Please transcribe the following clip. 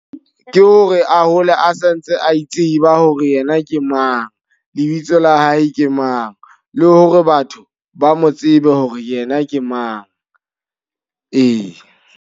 Ke hore a hole a santse a itseba hore yena ke mang. Lebitso la hae ke mang, le hore batho ba mo tsebe hore yena ke mang. Ee.